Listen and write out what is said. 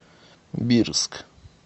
бирск